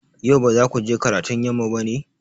Yau ba za ku je karatun yamma ba ne?